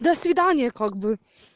до свидания как бы